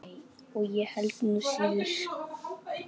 Nei, og ég held nú síður.